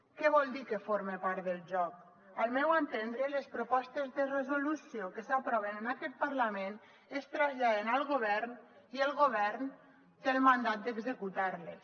què vol dir que forma part del joc al meu entendre les propostes de resolució que s’aproven en aquest parlament es traslladen al govern i el govern té el mandat d’executar les